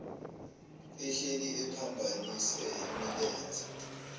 ehleli ephambanise imilenze